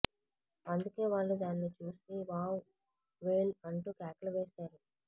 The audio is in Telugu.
అందుకే వాళ్లు దాన్ని చూసి వావ్ వేల్ అంటూ కేకలు వేశారు